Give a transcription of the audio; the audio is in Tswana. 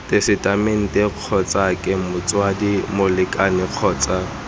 tesetamenteng kgotsake motsadi molekane kgotsa